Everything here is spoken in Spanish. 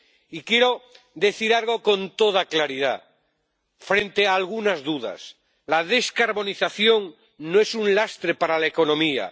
Y quiero decir algo con toda claridad frente a algunas dudas. La descarbonización no es un lastre para la economía.